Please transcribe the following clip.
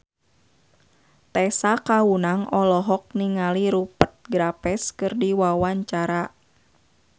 Tessa Kaunang olohok ningali Rupert Graves keur diwawancara